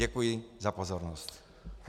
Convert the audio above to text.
Děkuji za pozornost.